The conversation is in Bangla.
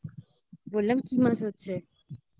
বললাম কি মাছ হচ্ছে